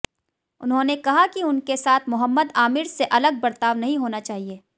उन्होंने कहा कि उनके साथ मोहम्मद आमिर से अलग बर्ताव नहीं होना चाहिए